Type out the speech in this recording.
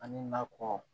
Ani nakɔ